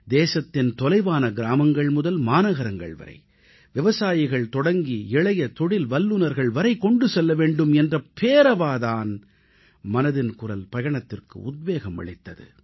தேசத்தின் தொலைதூர கிராமங்கள் முதல் மாநகரங்கள் வரை விவசாயிகள் தொடங்கி இளைய தொழில் வல்லுநர்கள் வரை கொண்டு செல்ல வேண்டும் என்ற பேரார்வம்தான் மனதின் குரல் பயணத்திற்கு உத்வேகம் அளித்தது